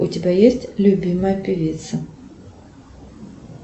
у тебя есть любимая певица